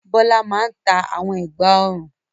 Bọ́lá máa ń ta àwọn ẹ̀gbá-ọrùn.